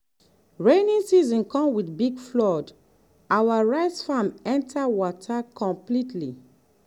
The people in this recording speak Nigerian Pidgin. rainy season come with big flood our rice farm enter water completely.